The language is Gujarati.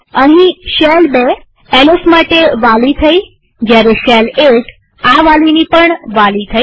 અહીંશેલ ૨ એલએસ માટે વાલી થઇજયારે શેલ ૧ આ વાલીની પણ વાલી થઇ